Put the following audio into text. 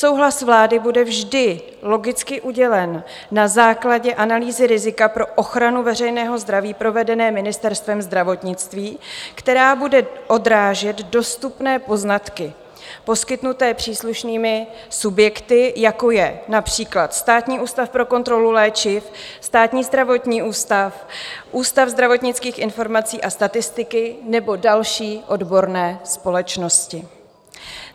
Souhlas vlády bude vždy logicky udělen na základě analýzy rizika pro ochranu veřejného zdraví provedené Ministerstvem zdravotnictví, která bude odrážet dostupné poznatky poskytnuté příslušnými subjekty, jako je například Státní ústav pro kontrolu léčiv, Státní zdravotní ústav, Ústav zdravotnických informací a statistiky nebo další odborné společnosti.